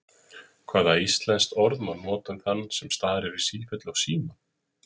Hvaða íslenskt orð má nota um þann sem starir í sífellu á símann?